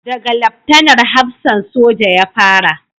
Da ga Laftanar hafsan soja ya fara